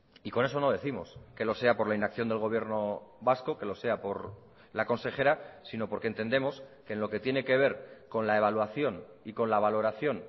y con eso no décimos que lo sea por la inacción del gobierno vasco que lo sea por la consejera sino porque entendemos que en lo que tiene que ver con la evaluación y con la valoración